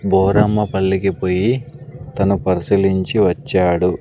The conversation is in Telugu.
బోరమ్మపల్లికి పోయి తను పరిశీలించి వచ్చాడు.